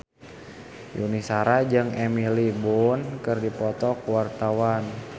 Yuni Shara jeung Emily Blunt keur dipoto ku wartawan